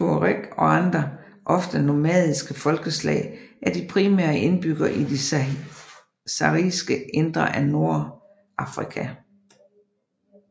Tuareg og andre ofte nomadiske folkeslag er de primære indbyggere i det sahariske indre af Nordafrika